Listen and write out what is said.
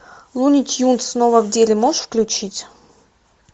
луни тюнз снова в деле можешь включить